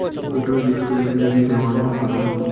એટલુ risk લઈન જવાનું હું કરવાનું?